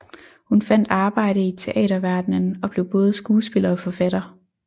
Hun fandt arbejde i teaterverdenen og blev både skuespiller og forfatter